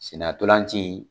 Senna gɔlanci